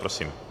Prosím.